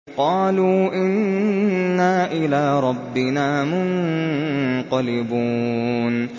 قَالُوا إِنَّا إِلَىٰ رَبِّنَا مُنقَلِبُونَ